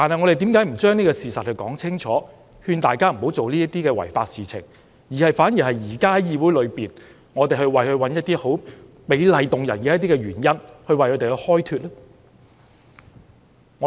為何我們不把事實說清楚，勸大家不要做那些違法的事情，反而在議會裏為他們找一些美麗動聽的原因開脫呢？